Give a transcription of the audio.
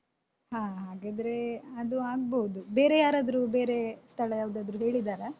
ಹಾ ಹ ಹಾಗಾದ್ರೆ ಅದು ಆಗ್ಬೋದು ಬೇರೆ ಯಾರಾದ್ರೂ ಬೇರೆ ಸ್ಥಳ ಯಾವ್ದಾದ್ರೂ ಹೇಳಿದ್ದಾರಾ?